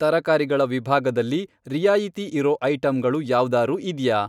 ತರಕಾರಿಗಳ ವಿಭಾಗದಲ್ಲಿ ರಿಯಾಯಿತಿ ಇರೋ ಐಟಂಗಳು ಯಾವ್ದಾರೂ ಇದ್ಯಾ?